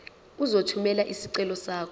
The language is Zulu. uzothumela isicelo sakho